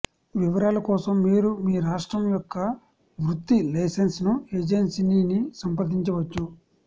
వివరాల కోసం మీరు మీ రాష్ట్రం యొక్క వృత్తి లైసెన్స్ ఏజెన్సీని సంప్రదించవచ్చు